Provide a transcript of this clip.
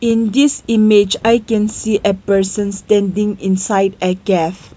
in this image I can see a person standing inside a cave.